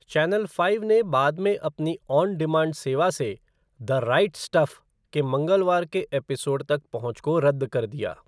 Channel five ने बाद में अपनी ऑन डिमांड सेवा से द राइट स्टफ़ के मंगलवार के एपिसोड तक पहुँच को रद्द कर दिया।